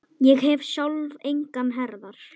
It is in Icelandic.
Ég hef sjálf engar herðar.